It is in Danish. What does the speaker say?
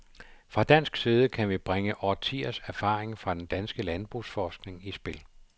Fra dansk side kan vi bringe årtiers erfaring fra den danske landbrugsforskning i spil.